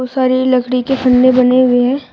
सारी लकड़ी के बने हुए है।